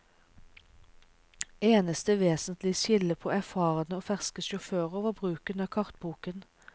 Eneste vesentlige skille på erfarne og ferske sjåfører var bruken av kartboken.